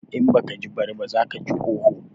In baka ji bari ba, za kaji oho.